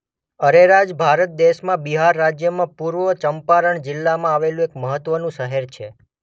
અરેરાજ ભારત દેશમાં બિહાર રાજ્યમાં પૂર્વ ચંપારણ જિલ્લામાં આવેલું એક મહત્વનું શહેર છે.